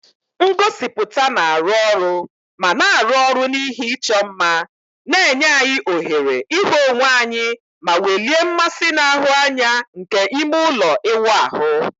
Ngosipụta na-arụ ọrụ ma na-arụ ọrụ na ihe ịchọ mma, na-enye anyị ohere ịhụ onwe anyị ma welie mmasị na-ahụ anya nke ime ụlọ ịwụ ahụ.